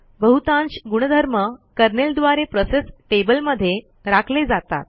बहुतांश गुणधर्म कर्नेल द्वारे प्रोसेस टेबलमध्ये राखले जातात